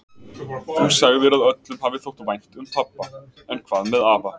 Þú sagðir að öllum hafi þótt vænt um pabba, en hvað með afa?